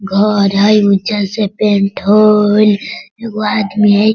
घर हय उज्जर से पेंट हय एगो आदमी हय।